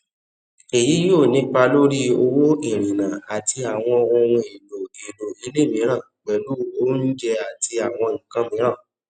èyí yóò ní ipa lórí owó ìrìnnà àti àwọn ohun èlò èlò ilé mìíràn pẹlú oúnjẹ àti àwọn nkan miiran